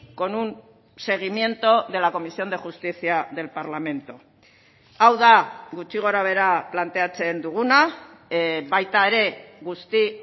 con un seguimiento de la comisión de justicia del parlamento hau da gutxi gorabehera planteatzen duguna baita ere guzti